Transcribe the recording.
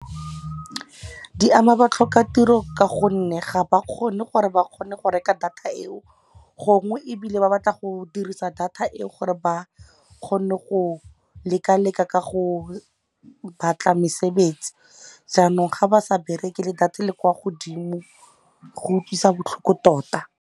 Di ama ba tlhoka tiro ka gonne ga ba kgone gore ba kgone go reka data eo gongwe, ebile ba batla go dirisa data eo gore ba kgone go leka-leka ka go batla mesebetsi. Jaanong ga ba sa bereke le data le kwa godimo go utlwisa botlhoko tota.